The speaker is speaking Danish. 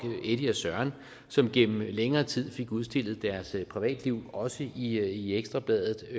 eddy og søren som gennem længere tid fik udstillet deres privatliv også i ekstra bladet og